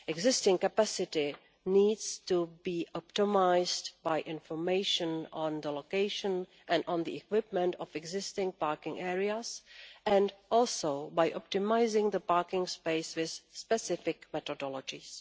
Existing capacity needs to be optimised by information on the location and equipment of existing parking areas, as well as by optimising the parking spaces' specific methodologies.